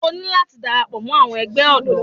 O ní láti dara pọ̀ mọ́ àwọn ẹgbẹ́ ọ̀dọ́.